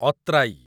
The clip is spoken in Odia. ଅତ୍ରାଇ